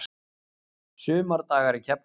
Sumardagar í Keflavík